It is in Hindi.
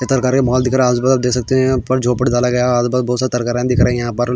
इधर मॉल दिख रहां है आसपास देख सकते है यहाँ पर झोपड़ आसपास बहोत सारे तरकारी दिख रही है.